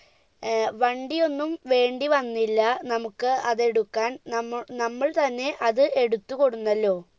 വണ്ടിയൊന്നും വേണ്ടിവന്നില്ല നമ്മുക്ക് അതെടുക്കാൻ നമ്മ നമ്മൾ തന്നെ അത് എടുത്ത് കൊടുന്നല്ലോ